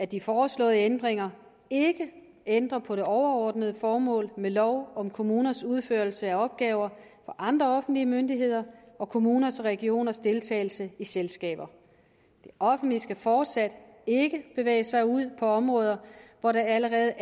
de foreslåede ændringer ikke ændres på det overordnede formål med lov om kommuners udførelse af opgaver for andre offentlige myndigheder og kommuners og regioners deltagelse i selskaber det offentlige skal fortsat ikke bevæge sig ud på områder hvor der allerede